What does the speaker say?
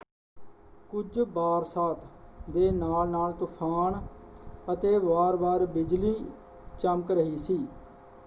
ਕੁਝ ਬਾਰਸਾਤ ਦੇ ਨਾਲ-ਨਾਲ ਤੂਫਾਨ ਅਤੇ ਵਾਰ-ਵਾਰ ਬਿਜਲੀ ਚਮਕ ਰਹੀ ਸੀ।